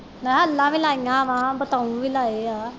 ਨਾ ਇਹਨਾਂ ਵੀ ਲਾਈਆਂ ਵਾਂ ਬਤਾਊਂ ਵੀ ਲਾਏ ਆ